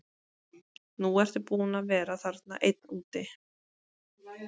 Nú ertu búinn að vera þarna einn úti.